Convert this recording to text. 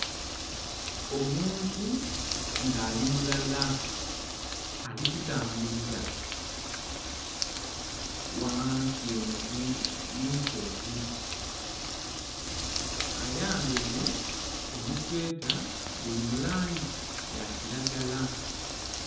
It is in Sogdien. Omuntu nga ali mulala ali kutambulila ghansi enho munsozi, ayambaire omusweta guli mulangi ya kilagala.